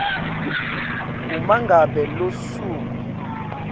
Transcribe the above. uma ngabe lusuku